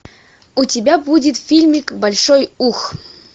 у тебя будет фильмик большой ух